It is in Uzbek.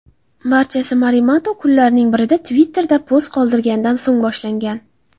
Barchasi Morimoto kunlarning birida Twitter’da post qoldirganidan so‘ng boshlangan.